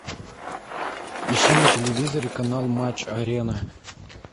ищи на телевизоре канал матч арена